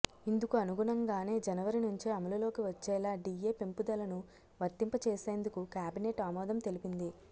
ఇందుకు అనుగుణంగానే జనవరి నుంచే అమలులోకి వచ్చేలా డిఎ పెంపుదలను వర్తింపచేసేందుకు కేబినెట్ ఆమోదం తెలిపింది